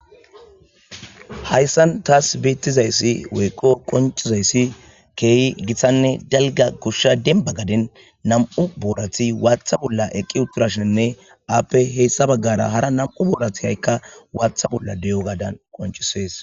Hayissani tassi bentidayis woyiko qoncisidayisi kehi gitanne daligga goshsha gadeni namu' u borati watha borati eqi utashinne happe sintha baggara qassi hara namu'u watha borati betosona.